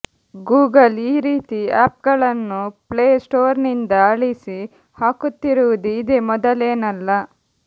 Google ಈ ರೀತಿ ಆ್ಯಪ್ಗಳನ್ನು ಪ್ಲೇ ಸ್ಟೋರ್ನಿಂದ ಅಳಿಸಿ ಹಾಕುತ್ತಿರುವುದು ಇದೇ ಮೊದಲೇನಲ್ಲ